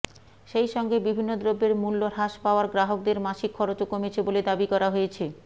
সেই সঙ্গে বিভিন্ন দ্রব্যের মূল্য হ্রাস পাওয়ায় গ্রাহকদের মাসিক খরচও কমেছে বলে দাবি করা হয়েছে